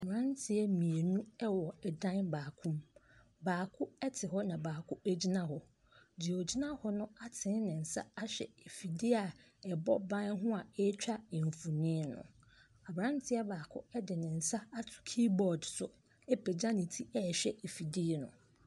Mmeranteɛ mmienu ɛwɔ ɛdan baako mu. Baako ɛte hɔ na baako egyina hɔ. Deɛ ɔgyina hɔ no atene ne nsa ahwɛ afidie a ɛbɔ ban ho a eetwa mfonin no. Aberanteɛ baako ɛde ne nsa ato kiibɔɔd so apagya ne ti ɛɛhwɛ afidie no.